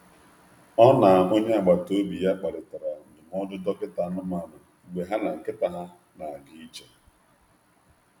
Ọ na onye agbata obi ya kparịtara ndụmọdụ dọkịta anụmanụ mgbe ha na nkịta ha na-aga ije.